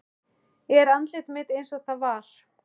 Er andlit mitt einsog það var.